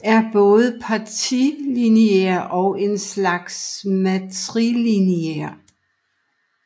Er både patrilineær og en slags matrilineær